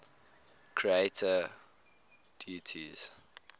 creator deities